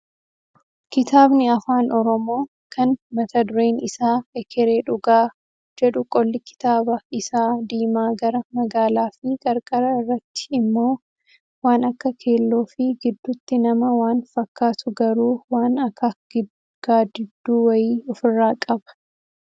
Kitaabni afaan oromoo kan mata dureen isaa "Ekeree dhugaa" jedhu qolli kitaaba isaa diimaa gara magaalaa fi qarqara irratti immoo waan akka keelloo fi gidduutti nama waan fakkaatu garuu waan akak gaaddidduu wayii ofirraa qaba.